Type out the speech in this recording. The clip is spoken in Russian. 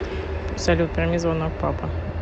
салют прими звонок папа